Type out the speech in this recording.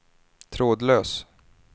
trådlös